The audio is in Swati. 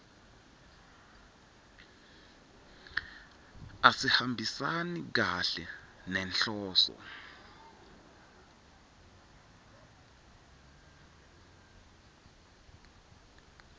asihambisani kahle nenhloso